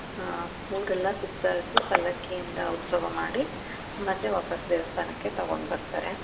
ಹ್ಮ್ ಊರೆಲ್ಲಾ ಸುತ್ತಾಡ್ಸಿ ಪಲ್ಲಕ್ಕಿಯಿಂದ ಉತ್ಸವ ಮಾಡಿ ಮತ್ತೆ ವಾಪಸ್ ದೇವಸ್ಥಾನಕ್ಕೆ ತಗೊಂಡ್ ಬರ್ತಾರೆ.